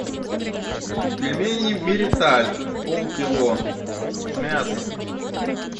пельмени мириталь полкило с мясом